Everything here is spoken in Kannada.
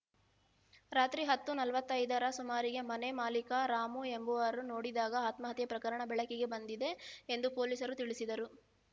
ರಾತ್ರಿ ಹತ್ತು ನಲವತ್ತೈದರ ಸುಮಾರಿಗೆ ಮನೆ ಮಾಲಿಕ ರಾಮು ಎಂಬುವರು ನೋಡಿದಾಗ ಆತ್ಮಹತ್ಯೆ ಪ್ರಕರಣ ಬೆಳಕಿಗೆ ಬಂದಿದೆ ಎಂದು ಪೊಲೀಸರು ತಿಳಿಸಿದರು